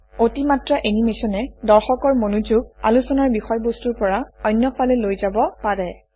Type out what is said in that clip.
অতিমাত্ৰা এনিমেচনে দৰ্শকৰ মনোযোগ আলোচনাৰ বিষয়বস্তুৰ পৰা অন্যফালে লৈ যাব পাৰে